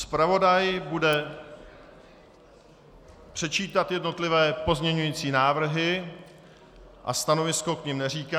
Zpravodaj bude předčítat jednotlivé pozměňovací návrhy a stanovisko k nim neříká.